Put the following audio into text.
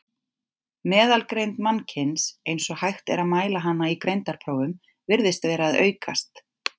Meðalgreind mannkyns, eins og hægt er að mæla hana í greindarprófum, virðist vera að aukast.